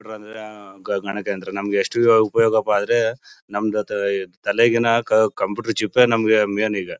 Computer ಅಂದ್ರೆ ಗಣಕ ಯಂತ್ರ ನಮಗೆ ಎಷ್ಟು ಉಪಯೋಗಪ್ಪ ಅಂದ್ರೆ ನಮ್ದು ತಾ ತಲೆಗಿಂತ ಕಂಪ್ಯೂಟರ್ ಚಿಪ್ ಏ ಮೇನ್ ಈಗ.